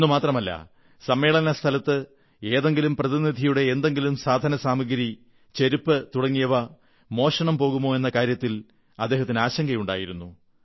എന്നുമാത്രമല്ല സമ്മേളനസ്ഥലത്ത് ഏതെങ്കിലും പ്രതിനിധിയുടെ എന്തെങ്കിലും സാധനസാമഗ്രി ചെരുപ്പ് തുടങ്ങിയ മോഷണം പോകുമോ എന്ന കാര്യത്തിൽ അദ്ദേഹത്തിന് ആശങ്കയുണ്ടായിരുന്നു